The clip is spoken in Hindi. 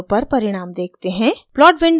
अब plot window पर परिणाम देखते हैं